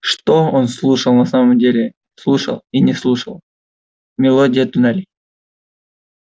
что он слушал на самом деле слушал и слышал мелодию туннелей